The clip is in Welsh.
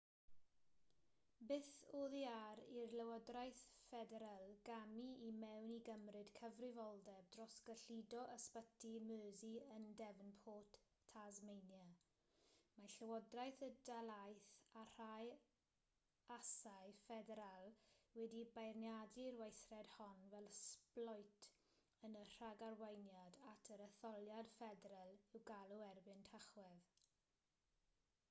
byth oddi ar i'r llywodraeth ffederal gamu i mewn i gymryd cyfrifoldeb dros gyllido ysbyty mersey yn devonport tasmania mae llywodraeth y dalaith a rhai asau ffederal wedi beirniadu'r weithred hon fel sbloet yn y rhagarweiniad at yr etholiad ffederal i'w galw erbyn tachwedd